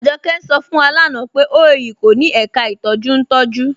Ajọkẹ̀ ń ṣọ̀ fún wa lánà pé OAU kò ní èká ìtọjú ntọ̀jú.